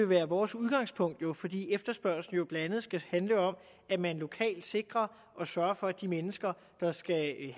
være vores udgangspunkt fordi efterspørgsel blandt andet skal handle om at man lokalt sikrer og sørger for at de mennesker der skal have